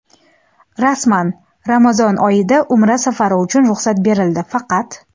Rasman: Ramazon oyida Umra safari uchun ruxsat berildi, faqat.